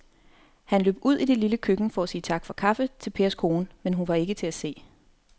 Han løb ud i det lille køkken for at sige tak for kaffe til Pers kone, men hun var ikke til at se.